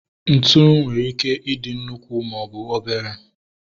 Ntụ nwere ike ị dị nnukwu maọbụ obere